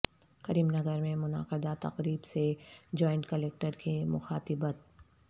کریم نگر میں منعقدہ تقریب سے جوائنٹ کلکٹر کی مخاطبت